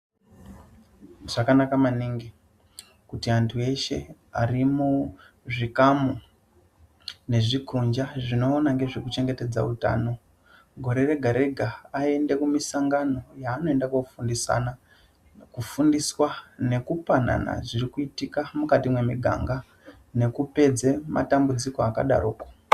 Zvakanaka maningi kuti antu eshe arimuzvikamu nezvikonja zvinoona ngezvekuchengetedza utano gore rega rega aende kumisangano yaanoenda kundofundisana kufundiswa nekupanana zviri kuitika mukati memiganga nekupedze matambudziko akadaroko .